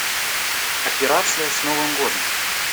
операция с новым годом